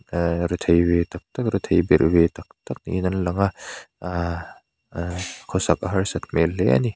aa rethei ve tak tak rethei berh ve tak tak niin an lang a khawsak harsat hmel hle a ni.